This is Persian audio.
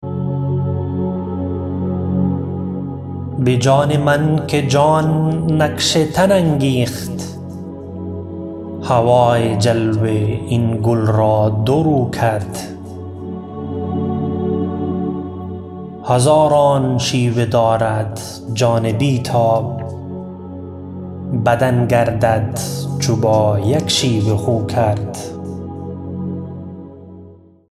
بجان من که جان نقش تن انگیخت هوای جلوه این گل را دو رو کرد هزاران شیوه دارد جان بیتاب بدن گردد چو با یک شیوه خو کرد